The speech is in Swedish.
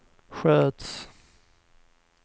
sköts